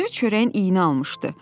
Görünür çörəyin iynə almışdı.